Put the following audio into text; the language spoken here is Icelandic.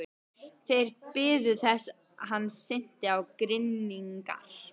Þeir biðu þess hann synti á grynningar.